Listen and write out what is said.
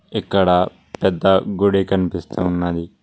ఇక్కడ పెద్ద గుడి కనిపిస్తూ ఉన్నది.